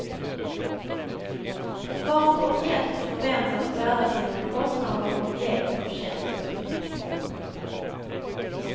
Vart och ett förväntas bära sina kostnader och ge förtjänst.